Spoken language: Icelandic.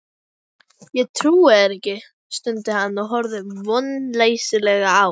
Ég trúi þér ekki, stundi hann og horfði vonleysislega á